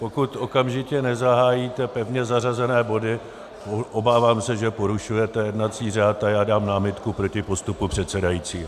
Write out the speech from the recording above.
Pokud okamžitě nezahájíte pevně zařazené body, obávám se, že porušujete jednací řád, a já dám námitku proti postupu předsedajícího.